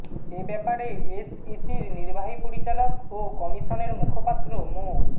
এ ব্যাপারে এসইসির নির্বাহী পরিচালক ও কমিশনের মুখপাত্র মো